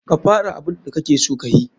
Ka fara abun da kakeso kayi.